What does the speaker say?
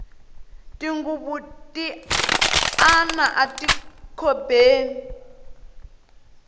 tinghuvu ti ana ati khobeni